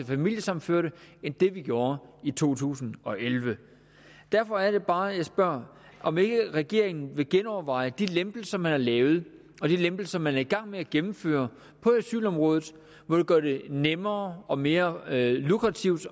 familiesammenførte end vi gjorde i to tusind og elleve derfor er det bare at jeg spørger om ikke regeringen vil genoverveje de lempelser man har lavet og de lempelser man er i gang med at gennemføre på asylområdet som gør det nemmere og mere lukrativt